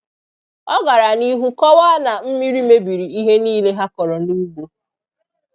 Ọ gara n'ihu kọwaa na mmiri mebiri ihe niile ha kọrọ n'ugbo.